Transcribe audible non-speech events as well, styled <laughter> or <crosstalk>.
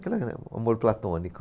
<unintelligible> o amor platônico.